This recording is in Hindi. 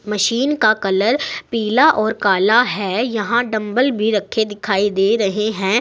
मशीन का कलर पीला और काला है यहां डम्बल भी रखे दिखाई दे रहे हैं।